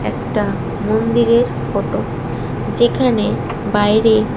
একটা মন্দিরের ফটো যেখানে বাইরে --